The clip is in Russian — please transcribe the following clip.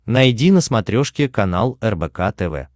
найди на смотрешке канал рбк тв